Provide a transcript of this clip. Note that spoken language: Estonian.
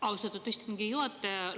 Austatud istungi juhataja!